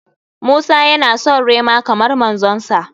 Musa ya na son rema kamar manzon sa.